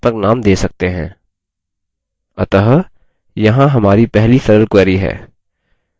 अतः यहाँ हमारी पहली सरल query है! यहाँ कुछ सलाह है: